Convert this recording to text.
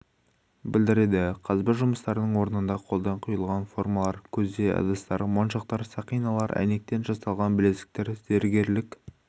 білдіреді қазба жұмыстарының орнында қолдан құйылған формалар көзе ыдыстар моншақтар сақиналар әйнектен жасалған білезіктер зергерлік